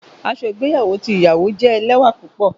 Aṣọ igbeyawo ti iyawo jẹ lẹwa pupọ.